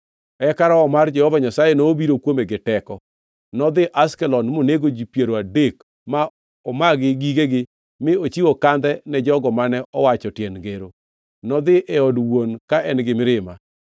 Eka Roho mar Jehova Nyasaye nobiro kuome gi teko. Nodhi Ashkelon, monego ji piero adek ma omagi gigegi mi ochiwo kandhe ne jogo mane owacho tiend ngero. Nodhi e od wuon ka en gi mirima.